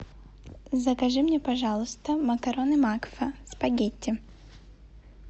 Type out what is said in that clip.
закажи мне пожалуйста макароны макфа спагетти